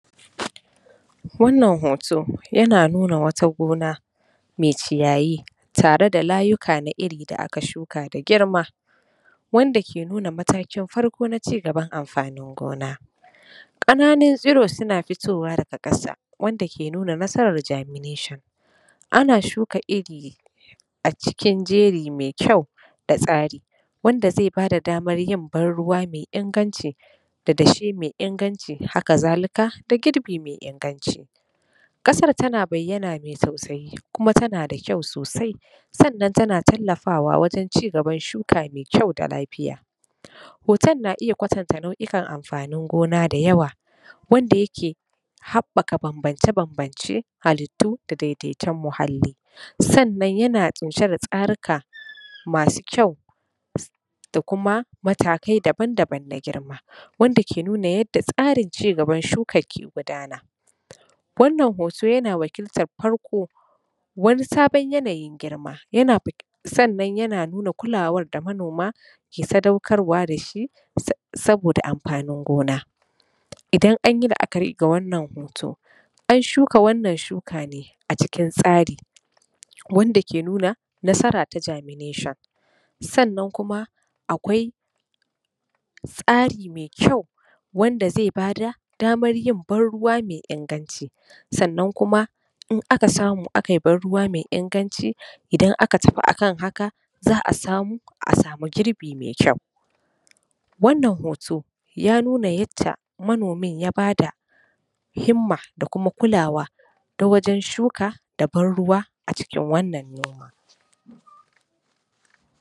Wannan hoto yana nuna wata gona mai ciyayi tare da layuka na iri da aka shuka da girma wanda ke nuna matakin farko na cigaban amfanin gona. Ƙananun tsiru suna fitowa daga ƙasa wanda ke nuna nasarar germination. Ana shuka iri a cikin jeri mai kyau da tsari wanda zai bada damar yin ban ruwa mai inganci da dashe mai inganci haka zalika da girbi mai inganci. Ƙasar tana bayyana mai dausayi kuma tana da kyau sosai sannan tana tallafawa wajen cigaban shuka mai kyau da lafiya. Hoton na iya kwatanta nauʼukan amfanin gona ne da yawa wanda yake wanda ya ke haɓɓaka bambance bambance da daidaiton muhalli sannan yana ƙunshe da tsarika masu kyau. da kuma matakai daban daban na girma wanda ke nuna yadda tsarin cigaban shuka ke gudana. Wannan hoto yana wakiltar farko wani sabon yanayin girma sannan yana nuna kulawar da manoma ke sadaukarwa da shi saboda amfanin gona, idan an yi laʼakari da wannan hoto an shuka wannan shuka ne a cikin tsari wanda ke nuna nasara ta germination sannan kuma akwai tsari mai kyau wanda zai ba da damar yin ban ruwa mai inganci sannan kuma in aka samu a kai ban ruwa mai inganci in aka tafi a kan haka za a samu girbi mai kyau. Wannan hoto ya nuna yadda manomin ya bada himma da kuma kulawa ta wajen shuka da ban ruwa a wajen wannan noma.